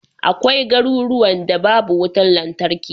Akwai garuruwan da babu wutar lantarki.